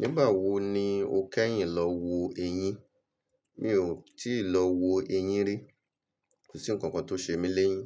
Nígbà wo ni o kẹ́yìn lọ wo eyín? Mi ò tíì lọ wo eyín rí. Kò sí ǹkankan tó ṣe mí léyín.